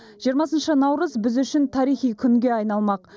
жиырмасыншы наурыз біз үшін тарихи күнге айналмақ